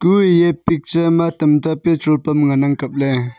kue eya picture ma tamta petrol pump ngan ang kapley.